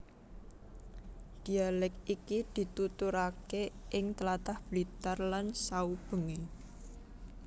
Dhialèk iki dituturake ing tlatah Blitar lan saubengé